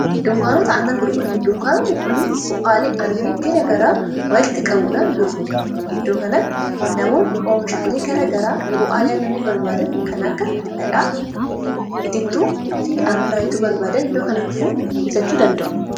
dunkaanota annani gurgodha dunkaanootni kunni bualii annani gira garaa walitti qabuudhaan gurgo iddookanatti namoon oo mishaalee gara garaa bu'aalii annanni barbaada kan akka dhadhaa itittuu fi annanaayitu barbaada iddoo kana dhufuu bitachuu danda'u